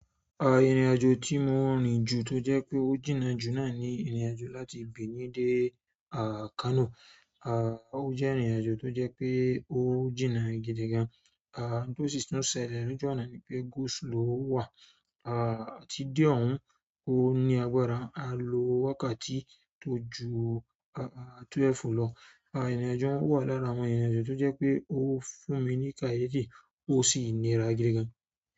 A, ìrìnàjò tí mo rìn ju tó jẹ́ pé ó jìnnà jù náà ni ìrìnàjò láti Benin dé Kano. A, ó jẹ́ ìrìnàjò tó jẹ́ pé ó jìnnà gidigan. A, n to si tun ṣẹ̀lẹ̀ loju ọ̀nà ni pé go slow wà. A, tí de ọ̀hún, ó ní agbára. Alo wákàtí ti o ju twelve lọ. A, ìrìnàjò un wà lára àwọn ìrìnàjò tó jẹ́ pé ó fún mi ní káyefi, ó sì nira gidigan.